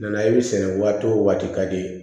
Nana ye sɛnɛ waati o waati ka di i ye